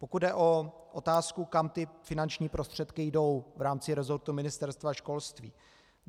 Pokud jde o otázku, kam ty finanční prostředky jdou v rámci rezortu ministerstva školství.